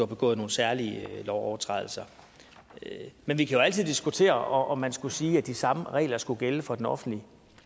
begået nogle særlige lovovertrædelser men vi kan jo altid diskutere om man skulle sige at de samme regler skulle gælde for den offentlige